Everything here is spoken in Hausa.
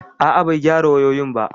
A'a, bai gyara wayoyin ba